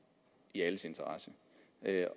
i alles interesse